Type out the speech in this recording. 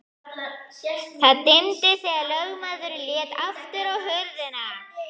Það dimmdi þegar lögmaðurinn lét aftur hurðina.